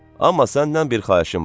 Amma səndən bir xahişim var.